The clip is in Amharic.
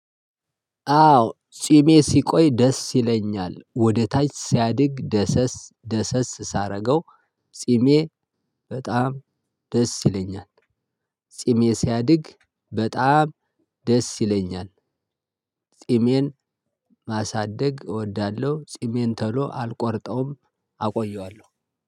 አዎ ጺሜ ሲቆይ ደስ ይለኛል ወደ ታች ሲያድግ ደሰስ ደሰስ ሳረገው ጺሜ በጣም ደስ ይለኛል። ጺሜ ሲያድግ በጣም ደስ ይለኛል። ጺሜን ማሳደግ እወዳለሁ። ጺሜን ጺሜን ቶሎ አልቆርጠውም አቆየዋለሁ።